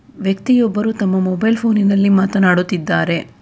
ವ್ಯಕ್ತಿಯೊಬ್ಬರು ತಮ್ಮ ಮೊಬೈಲ್ ಫೋನಿ ನಲ್ಲಿ ಮಾತನಾಡುತ್ತಿದ್ದಾರೆ.